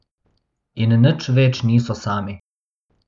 In nič več niso sami.